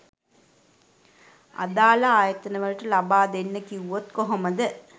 අදාළ ආයතන වලට ලබා දෙන්න කිව්වොත් කොහොමද?